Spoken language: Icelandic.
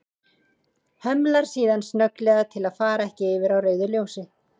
Hemlar síðan snögglega til að fara ekki yfir á rauðu ljósi.